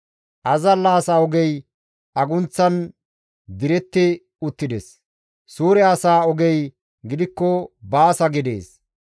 Azalla asa ogey agunththan diretti uttides; suure asa ogey gidikko baasa gidees.